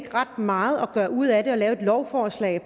er ret meget at gøre ud af det altså at lave et lovforslag